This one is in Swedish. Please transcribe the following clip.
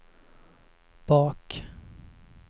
bak